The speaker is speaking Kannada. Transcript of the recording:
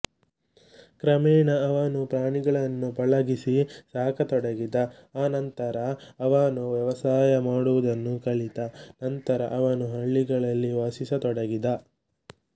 ಕ್ರಮೇಣ ಅವನು ಪ್ರಾಣಿಗಳನ್ನು ಪಳಗಿಸಿ ಸಾಕತೊಡಗಿದ ಆ ನಂತರ ಅವನು ವ್ಯವಸಾಯ ಮಾಡುವುದನ್ನು ಕಲಿತ ನಂತರ ಅವನು ಹಳ್ಳಿಗಳಲ್ಲಿ ವಾಸಿಸತೊಡಗಿದ